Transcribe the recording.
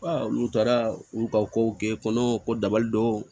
Wala olu taara u ka kow kɛ kɔnɔ ko dabali dɔw